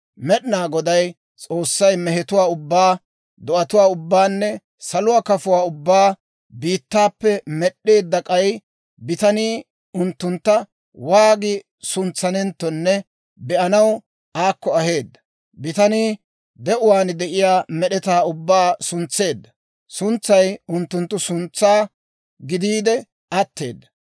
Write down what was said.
Med'inaa Goday S'oossay mehetuwaa ubbaa, do'atuwaa ubbaanne saluwaa kafotuwaa ubbaa biittaappe med'd'eedda; k'ay bitanii unttuntta waagi suntsanenttonne be'anaw aakko aheedda; bitanii de'uwaan de'iyaa med'etaa ubbaa suntseedda suntsay unttunttu suntsaa gidiide atteedda.